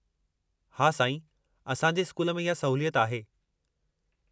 हा साईं, असां जे स्कूल में इहा सहूलियत आहे।